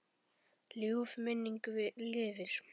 Ljúf minning lifir.